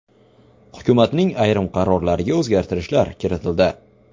Hukumatning ayrim qarorlariga o‘zgartirishlar kiritildi.